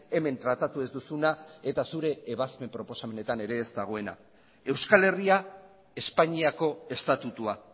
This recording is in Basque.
hemen tratatu ez duzuna eta zure ebazpen proposamenetan ere ez dagoena euskal herria espainiako estatutua